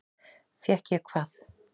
Fékk ég hvað?